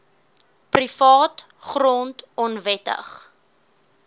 privaat grond onwettig